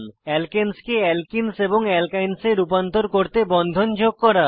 alkanes কে alkenes এবং alkynes এ রূপান্তর করতে বন্ধন যোগ করা